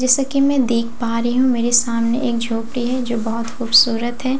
जैसे की मैं देख पा रही हूँ मेरे सामने एक झोपड़ी है जो बहुत खूबसूरत है अगल--